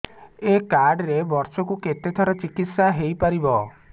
ଏଇ କାର୍ଡ ରେ ବର୍ଷକୁ କେତେ ଥର ଚିକିତ୍ସା ହେଇପାରିବ